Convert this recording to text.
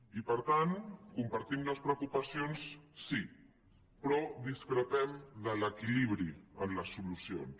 i per tant compartim les preocupacions sí però discrepem de l’equilibri en les solucions